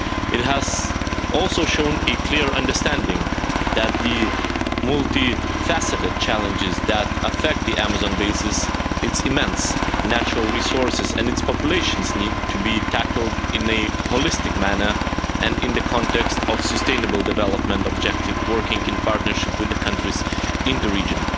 It has also shown a clear understanding that the multi-faceted challenges that affect the Amazon basin, its immense natural resources and its populations need to be tackled in a holistic manner and in the context of sustainable development objective working in partnership with the countries in the region.